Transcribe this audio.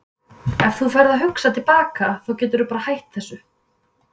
Ef þú ferð að hugsa til baka þá geturðu bara hætt þessu.